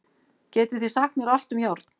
Getið þið sagt mér allt um járn?